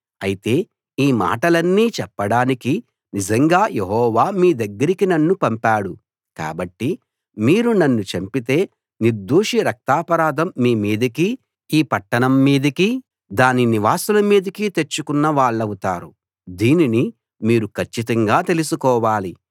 అయితే ఈ మాటలన్నీ చెప్పడానికి నిజంగా యెహోవా మీ దగ్గరికి నన్ను పంపాడు కాబట్టి మీరు నన్ను చంపితే నిర్దోషి రక్తాపరాధం మీ మీదికీ ఈ పట్టణం మీదికీ దాని నివాసుల మీదికీ తెచ్చుకున్న వాళ్ళవుతారు దీనిని మీరు కచ్చితంగా తెలుసుకోవాలి